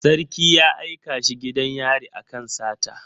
Sarki ya aika shi gidan yari akan sata